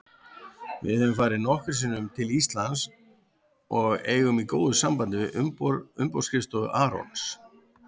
Við höfum farið nokkrum sinnum til Íslands og eigum í góðu sambandi við umboðsskrifstofu Arons.